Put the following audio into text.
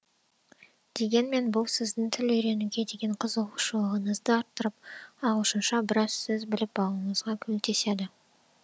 дегенмен бұл сіздің тіл үйренуге деген қызығушылығыңызды арттырып ағылшынша біраз сөз біліп алуыңызға көмектеседі